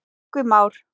Tryggvi Már.